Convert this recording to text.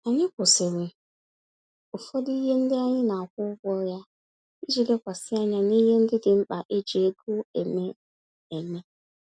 Anyị kwụsịrị ụfọdụ ihe ndị anyị na-akwụ ụgwọ ya, iji lekwasị anya n'ihe ndị dị mkpa eji ego eme. eme.